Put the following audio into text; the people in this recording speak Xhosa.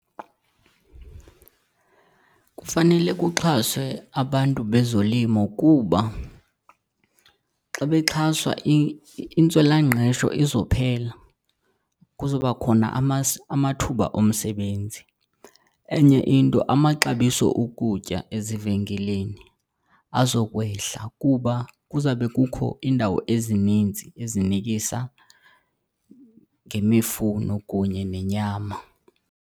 Kufanele kuxhaswe abantu bezolimo kuba xa bexhaswa, intswelangqesho izophela, kuzoba khona amathuba omsebenzi. Enye into amaxabiso okutya ezivenkileni azokwehla kuba kuzawube kukho iindawo ezininzi ezinikisa ngemifuno kunye nenyama.